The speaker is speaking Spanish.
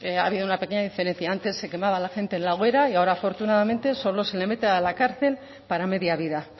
ha habido una pequeña diferencia antes se quemaba a la gente en la hoguera y ahora afortunadamente solo se le mete a la cárcel para media vida